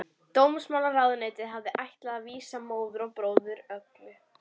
Dómsmálaráðuneytið hafði ætlað að vísa móður og bróður Olgu